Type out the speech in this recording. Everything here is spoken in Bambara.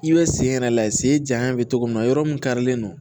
I bɛ sen yɛrɛ lajɛ sen janya bɛ cogo min na yɔrɔ mun karilen don